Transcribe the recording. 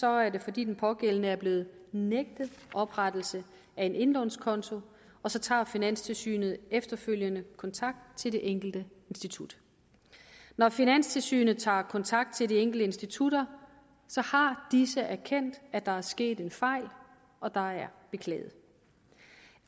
er det fordi den pågældende er blevet nægtet oprettelse af en indlånskonto og så tager finanstilsynet efterfølgende kontakt til det enkelte institut når finanstilsynet tager kontakt til de enkelte institutter har disse erkendt at der er sket en fejl og der er beklaget